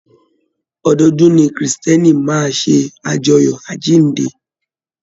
Ọdọọdún ni kírísítẹ́nì máa ṣe ajọ́yọ àjínde.